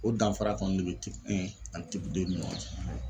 O danfara kɔni de bɛ ani ni ɲɔgɔn cɛ.